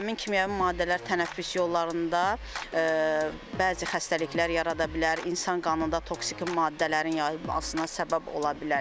Həmin kimyəvi maddələr tənəffüs yollarında bəzi xəstəliklər yarada bilər, insan qanında toksiki maddələrin yayılmasına səbəb ola bilərlər.